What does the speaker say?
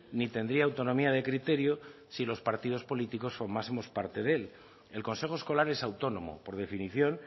ni tendría autonomía de criterio si los partidos políticos formásemos parte de él el consejo escolar es autónomo por definición